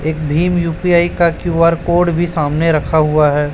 एक भीम यू_पी_आई का क्यू_आर कोड भी सामने रखा हुआ है।